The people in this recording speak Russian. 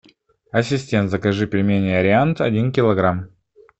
ассистент закажи пельмени ариант один килограмм